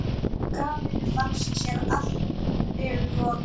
Kamillu fannst sér allri lokið.